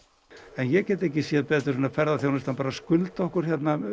en ég get ekki séð betur en að ferðaþjónustan skuldi okkur